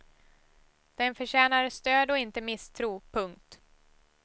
Den förtjänar stöd och inte misstro. punkt